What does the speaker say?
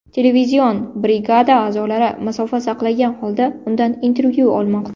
Televizion brigada a’zolari masofa saqlagan holda undan intervyu olmoqda.